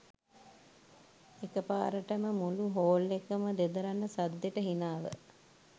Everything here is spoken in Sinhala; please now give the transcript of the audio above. එකපාරටම මුළු හෝල් එකම දෙදරන්න සද්දෙට හිනාව